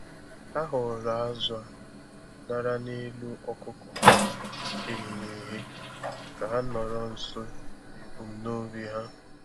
Ha họọrọ azụ̀ a ṅara n'elu ọkụkọ e ghere eghe ka ha nọrọ nso n'ebumnobi ha.